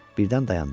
Birdən dayandı.